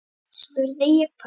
spurði ég hvöss.